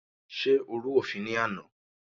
Ṣé o rú òfin ní àná?